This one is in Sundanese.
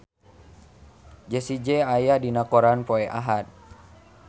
Jessie J aya dina koran poe Ahad